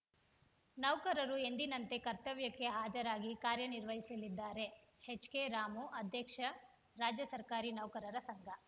ನೌಕರರು ಎಂದಿನಂತೆ ಕರ್ತವ್ಯಕ್ಕೆ ಹಾಜರಾಗಿ ಕಾರ್ಯ ನಿರ್ವಹಿಸಲಿದ್ದಾರೆ ಎಚ್‌ಕೆರಾಮು ಅಧ್ಯಕ್ಷ ರಾಜ್ಯ ಸರ್ಕಾರಿ ನೌಕರರ ಸಂಘ